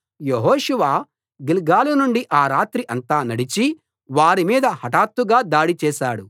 యెహోషువ గిల్గాలు నుండి ఆ రాత్రి అంతా నడచి వారి మీద హఠాత్తుగా దాడి చేశాడు